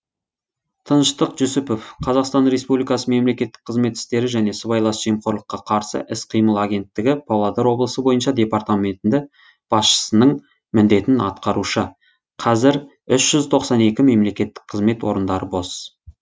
тыныштық жүсіпов қазақстан республикасы мемлекеттік қызмет істері және сыбайлас жемқорлыққа қарсы іс қимыл агенттігі павлодар облысы бойынша департаменті басшысының міндетін атқарушы қазір үш тоқсан екі мемлекеттік қызмет орындары бос